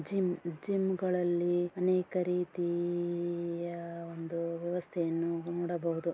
Gym gym ಗಳಲ್ಲಿ ಅನೇಕ ರೀತೀ ಯ ಒಂದು ವ್ಯವಸ್ಥೆಯನ್ನು ನೋಡಬಹುದು.